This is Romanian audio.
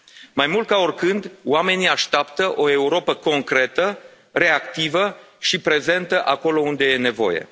Mai mult ca oricând, oamenii așteaptă o Europă concretă, reactivă și prezentă acolo unde e nevoie.